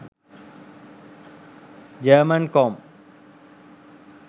german com